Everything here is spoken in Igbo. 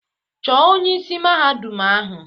Chọọ onye isi Mahadum ahụ!